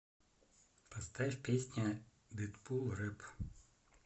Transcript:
поставь песня дэдпул рэп